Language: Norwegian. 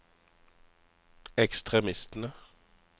ekstremistene